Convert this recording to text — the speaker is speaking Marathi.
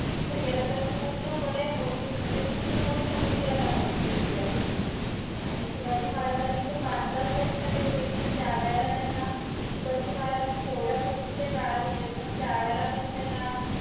तिथे गेल्यानंतर पूर्णपणे बोटी, म्हणजे पूर्णपणे समुद्रात आहे तो जंजिरा किल्ला. आणि शिवाजी महाराजांनी तो बांधलाच त्याच्यासाठी होता किमान त्या वेळेला त्यांना, शिवाजी महाराज केवढ्या पूर्वीच्या काळात होते पण त्यावेळेला पण त्यांना